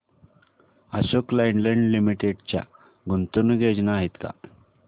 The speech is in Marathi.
अशोक लेलँड लिमिटेड च्या गुंतवणूक योजना आहेत का